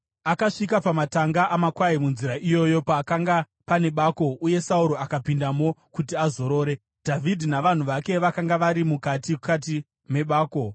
Akasvika pamatanga amakwai munzira iyoyo; pakanga pane bako, uye Sauro akapindamo kuti azorore. Dhavhidhi navanhu vake vakanga vari mukati kati mebako.